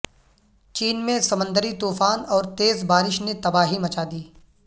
چین میں سمندری طوفان اور تیز بارش نے تباہی مچا دی